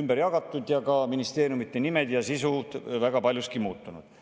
ümber jagatud, ka ministeeriumide nimed ja sisu on paljuski muutunud.